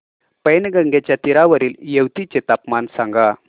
पैनगंगेच्या तीरावरील येवती चे तापमान सांगा